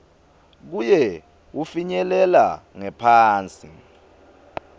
kuye wufinyelela ngephansi